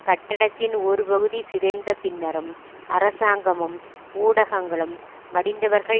கட்டடத்தின் ஒரு பகுதி சிதைந்த பின்னரும் அரசாங்கமும் ஊடகங்களும் மடிந்தவர்கள்